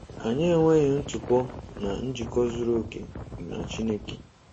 Anyị enweghị ntụpọ na njikọ zuru oke na Chineke.